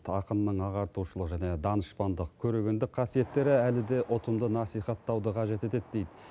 ақынның ағартушылық және данышпандық көрегендік қасиеттері әлі де ұтымды насихаттауды қажет етеді дейді